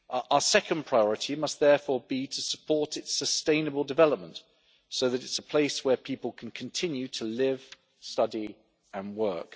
Our second priority must therefore be to support its sustainable development, so that it is a place where people can continue to live, study and work.